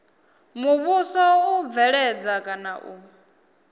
muvhuso u bveledza kana u